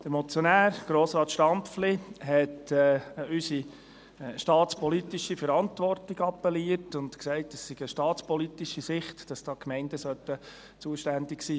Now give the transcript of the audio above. Der Motionär, Grossrat Stampfli, hat an unsere staatspolitische Verantwortung appelliert und gesagt, dass aus staatspolitischer Sicht die Gemeinden zuständig sein sollten.